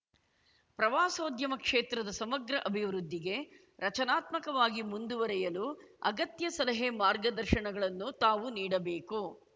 ಪ್ರವಾಸೋದ್ಯಮ ಕ್ಷೇತ್ರದ ಸಮಗ್ರ ಅಭಿವೃದ್ಧಿಗೆ ರಚನಾತ್ಮಕವಾಗಿ ಮುಂದುವರೆಯಲು ಅಗತ್ಯ ಸಲಹೆಮಾರ್ಗದರ್ಶನಗಳನ್ನು ತಾವು ನೀಡಬೇಕು